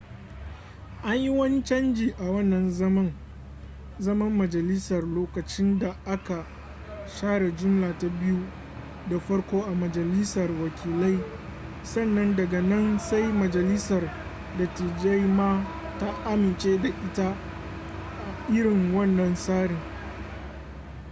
an yi wani canji a wannan zaman majalisar lokacin da aka share jumla ta biyu da farko a majalisar wakilai sannan daga nan sai majalisar dattijai ma ta amince da ita a irin wannan tsarin